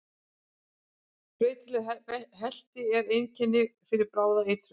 Breytileg helti er einkennandi fyrir bráða eitrun.